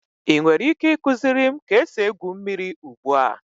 Ị nwere ike ịkụziri m ka esi egwu mmiri ugbu a?